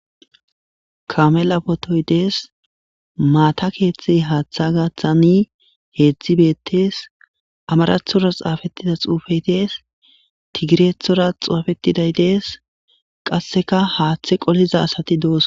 Kamela potoy dees maata keeththe haaththa gaththani heedzdzi bettees amarathora xaafettida xuufeydees tigirethora xaufetiday dees qasseka haaththe qoliza asati doos.